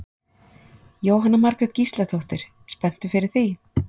Jóhanna Margrét Gísladóttir: Spenntur fyrir því?